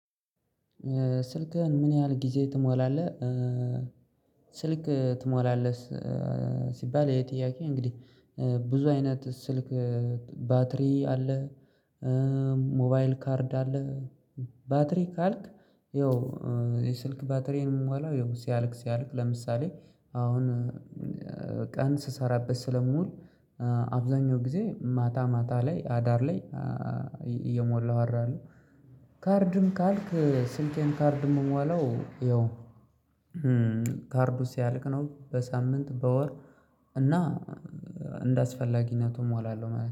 ስልክህን ምን ያህል ጊዜ ትሞላለህ ስልክ ትሞላለህ ስ ሲባል ይሄ ጥያቄ እንግዲህ ብዙ አይነት ስልክ ባትሪ አለ። ሞ ሞባይል ካርድ አለ። ባትሪ ካልክ ያው የስልክ ባትሪን የምሞላው ያው ሲያልቅ ሲያልቅ ለምሳሌ አሁን ቀን ስሰራበት ስለምውል አብዛኛው ጊዜ ማታ ማታ ላይ አዳር ላይ እየሞላው አድራለሁ ካርድም ካልክ ስልኬን ካርድ የምሟላው ያው ካርዱ ሲያልቅ ነው በሳምንት በወር እና እንደ አስፈላጊነቱ እሞላለሁ ማለት ነው